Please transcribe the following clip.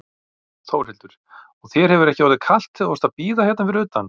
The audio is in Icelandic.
Þórhildur: Og þér hefur ekki orðið kalt þegar þú varst að bíða hérna fyrir utan?